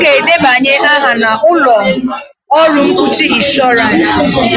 ga-edebanye aha na ụlọ ọrụ mkpuchi ịnshọransị.